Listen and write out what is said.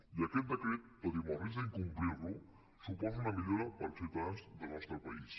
i aquest decret tot i amb el risc d’incomplir lo suposa una millora per als ciutadans del nostre país